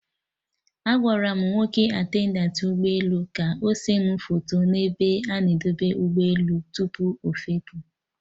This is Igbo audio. Agwara m nwoke attendantị ụgbọ elu ka ọ se mụ foto n'ebe a na-edebe ụgbọ elu tupu ọfepụ